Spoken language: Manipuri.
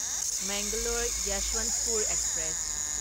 ꯃꯦꯡꯒꯂꯣꯔ ꯌꯁ꯭ꯋꯟꯊꯄꯨꯔ ꯑꯦꯛꯁꯄ꯭ꯔꯦꯁ